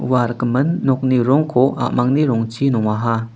ua rikgimin nokni rongko a·mangni rongchi nongaha.